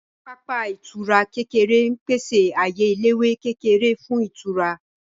Pápá ìtura kékeré ń pèsè ààyè eléwé kékeré fún ìtura